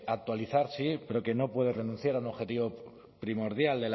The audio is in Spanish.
actualizar sí pero que no puede renunciar a un objetivo primordial